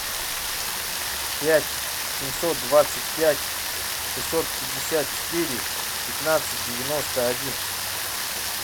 пять семьсот двадцать пять шестьсот пятьдесят четыре пятнадцать девяносто один